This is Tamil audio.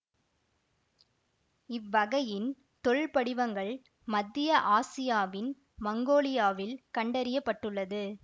இவ்வகையின் தொல்படிவங்கள் மத்திய ஆசியாவின் மங்கோலியாவில் கண்டறிய பட்டுள்ளது